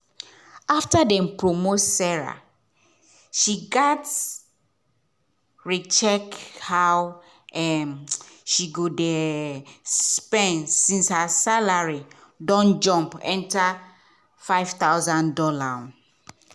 after dem promote sarah she gats re-check how um she dey um spend since her salary don jump enter five thousand dollars. um